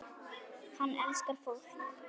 Hann elskar fólk.